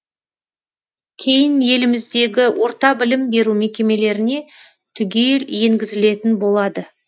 кейін еліміздегі орта білім беру мекемелеріне түгел енгізілетін болады